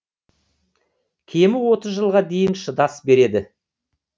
кемі отыз жылға дейін шыдас береді